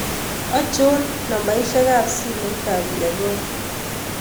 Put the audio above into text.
Achon nambaisyek ab simoit ab Yegon